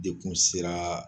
De Kun sera